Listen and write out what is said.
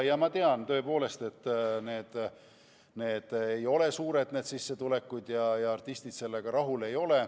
Ma tean, et need ei ole tõesti suured sissetulekud ja artistid ei ole rahul.